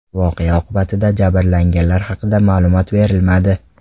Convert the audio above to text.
Voqea oqibatida jabrlanganlar haqida ma’lumot berilmadi.